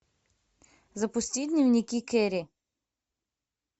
запусти дневники кэрри